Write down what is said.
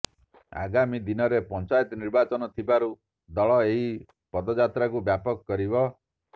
ଆଗାମୀ ଦିନରେ ପଞ୍ଚାୟତ ନିର୍ବାଚନ ଥିବାରୁ ଦଳ ଏହି ପଦଯାତ୍ରାକୁ ବ୍ୟାପକ କରିବ